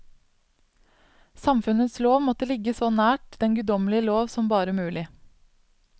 Samfunnets lov måtte ligge så nært den guddommelige lov som bare mulig.